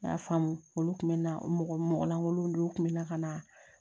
N y'a faamu olu tun bɛ na mɔgɔ lankolon dɔw kun bɛ na ka na